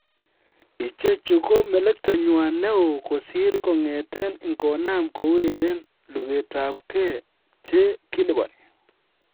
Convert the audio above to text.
Ichechu ko melektanywan nee oo kosir kong'eten ingonam koureren lugetab kee che kiliponi.